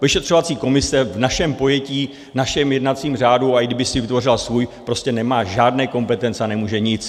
Vyšetřovací komise v našem pojetí, v našem jednacím řádu, a i kdyby si vytvořila svůj, prostě nemá žádné kompetence a nemůže nic.